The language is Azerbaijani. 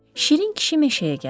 Şirin kişi meşəyə gəldi.